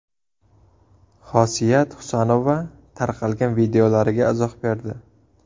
Xosiyat Husanova tarqalgan videolariga izoh berdi.